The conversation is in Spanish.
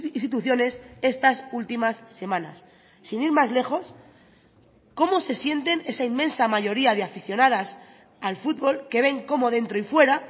instituciones estas últimas semanas sin ir más lejos cómo se sienten esa inmensa mayoría de aficionadas al fútbol que ven cómo dentro y fuera